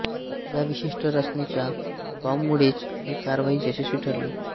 या विशिष्ट रचनेच्या बॉंबमुळेच ही कारवाई यशस्वी ठरली